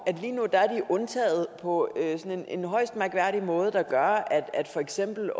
at undtaget på sådan en højst mærkværdig måde der gør at for eksempel